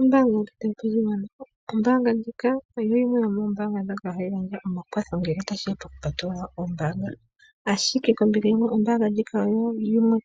Ombaanga yopashigwana. Ombaanga ndjika oyo yimwe yomoombaanga dhoka hadhi gandja omakwatho ngele tashiya pokupatulula ombaanga. Ashike kombinga yimwe ombaanga ndjika oyo yimwe